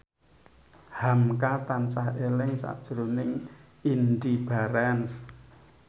hamka tansah eling sakjroning Indy Barens